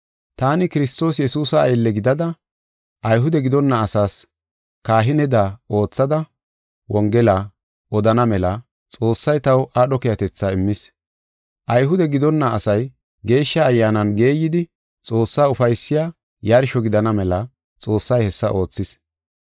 Taani Kiristoos Yesuusa aylle gidada, Ayhude gidonna asaas kahineda oothada, Wongela odana mela Xoossay taw aadho keehatetha immis. Ayhude gidonna asay Geeshsha Ayyaanan geeyidi, Xoossaa ufaysiya yarsho gidana mela Xoossay hessa oothis.